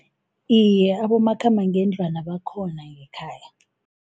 Iye, abomakhambangendlwana bakhona ngekhaya.